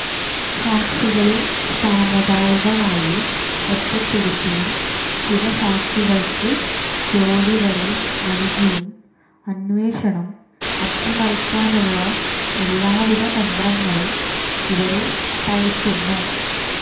സാക്ഷികളെ സാമുദായികമായി ഒറ്റപ്പെടുത്തിയും ചില സാക്ഷികള്ക്ക് ജോലി വരെ നല്കിയും അന്വേഷണം അട്ടിമറിക്കാനുള്ള എല്ലാവിധ തന്ത്രങ്ങളും ഇവര് പയറ്റുന്നു